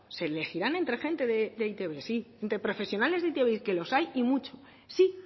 se elegirán entre gente de e i te be sí entre profesionales de e i te be que los hay y mucho sí